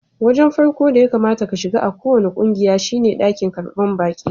Wajen farkon da ya kamata ka shiga a kowani kungiya shine dakin karban baki.